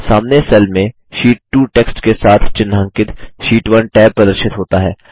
सामने सेल में sheet 2 text के साथ चिह्नांकित शीट 1 टैब प्रदर्शित होता है